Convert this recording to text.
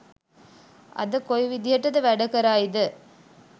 අද කොයි විදිහට වැඩ කරයිද